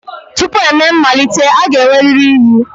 Tupu emee mmalite, a ga-enwerịrị iyi.